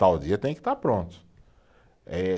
Tal dia tem que estar pronto. Eh